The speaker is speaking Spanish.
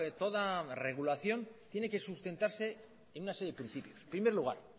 toda regulación tiene que sustentarse en una serie de principios primer lugar